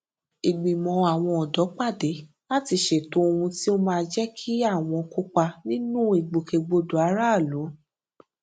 ìgbìmò àwọn òdó pàdé láti ṣètò ohun tí ó máa jé kí àwọn kópa nínú ìgbòkègbodò aráàlú